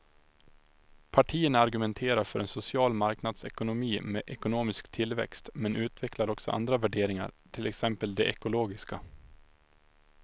Partierna argumenterar för en social marknadsekonomi med ekonomisk tillväxt men utvecklar också andra värderingar, till exempel de ekologiska.